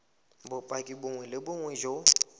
bopaki bongwe le bongwe jo